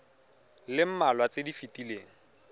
le mmalwa tse di fetileng